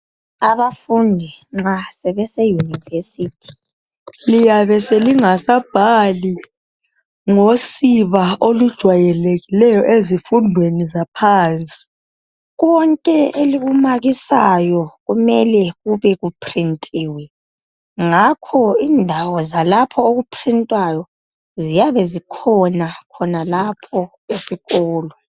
Abafundi nxa sebese yunivesithi liyabe lingasabhali ngosiba olujwayelekileyo ezifundweni zaphansi. Konke elikumakisayo kumele kube kuprintiwe, ngakho indawo zalapho okuprintwayo ziyabe zikhona khonalapho esikolo.